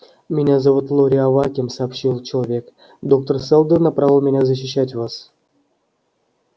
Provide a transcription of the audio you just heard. меня зовут лоре аваким сообщил человек доктор сэлдон направил меня защищать вас